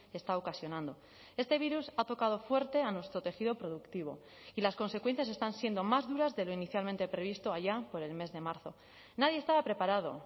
está ocasionando este virus ha tocado fuerte a nuestro tejido productivo y las consecuencias están siendo más duras de lo inicialmente previsto allá por el mes de marzo nadie estaba preparado